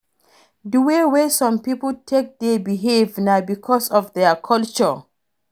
Di way wey some pipo take dey behave na because of their culture